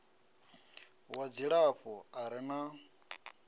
wa dzilafho a re na